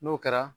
N'o kɛra